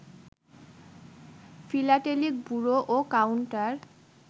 philatelic bureau ও counter